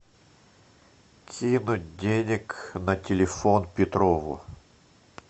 кинуть денег на телефон петрову